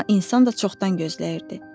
Amma insan da çoxdan gözləyirdi.